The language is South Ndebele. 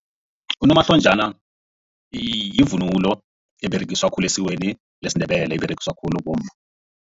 Unomahlonjana yivunulo eberegiswa khulu esikweni lesiNdebele iberegiswa khulu bomma.